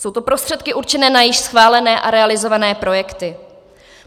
Jsou to prostředky určené na již schválené a realizované projekty.